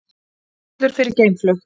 Flugvöllur fyrir geimflug